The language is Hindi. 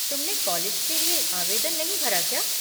तुमने कॉलेज के लिए आवेदन नहीं भरा क्या?